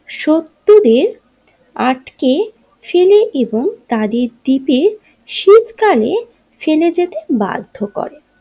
সতুরের আটকে ফেলে এবং তাদের দ্বীপে শীতকালে ফেলে যেতে বাধ্য করে।